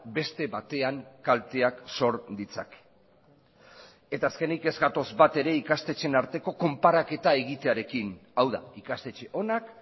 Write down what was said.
beste batean kalteak sor ditzake eta azkenik ez gatoz bat ere ikastetxeen arteko konparaketa egitearekin hau da ikastetxe onak